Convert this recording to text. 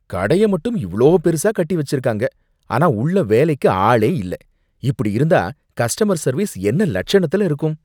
கடைய மட்டும் இவ்ளோ பெருசா கட்டி வச்சிருக்காங்க, ஆனா உள்ள வேலைக்கு ஆளே இல்ல, இப்படி இருந்தா கஸ்டமர் சர்வீஸ் என்ன லட்சணத்துல இருக்கும்!